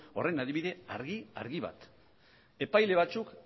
horren adibide argi argi bat epaile batzuk